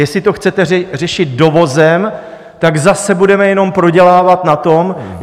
Jestli to chcete řešit dovozem, tak zase budeme jenom prodělávat na tom...